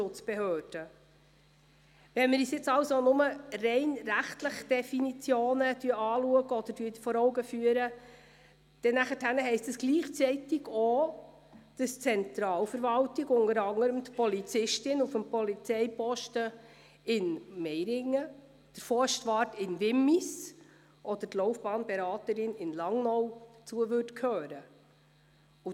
Wenn wir uns jetzt also lediglich rechtliche Definitionen anschauen oder vor Augen führen, heisst das gleichzeitig auch, dass zur Zentralverwaltung unter anderem auch die Polizistin auf dem Polizeiposten in Meiringen, der Forstwart in Wimmis oder die Laufbahnberaterin in Langnau gehören würde.